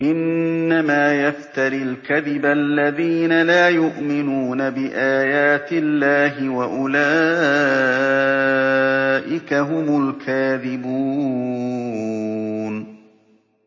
إِنَّمَا يَفْتَرِي الْكَذِبَ الَّذِينَ لَا يُؤْمِنُونَ بِآيَاتِ اللَّهِ ۖ وَأُولَٰئِكَ هُمُ الْكَاذِبُونَ